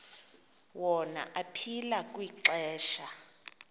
wona aphila kwixesha